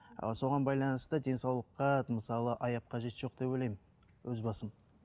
ал соған байланысты денсаулыққа мысалы аяп қажеті жоқ деп ойлаймын өз басым